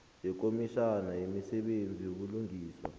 yekomitjhana yemisebenzi yobulungiswa